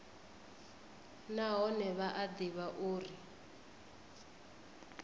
nahone vha a ḓivha uri